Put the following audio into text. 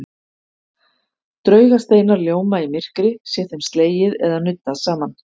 Draugasteinar ljóma í myrkri sé þeim slegið eða nuddað saman.